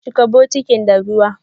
Chika bukitin da ruwa!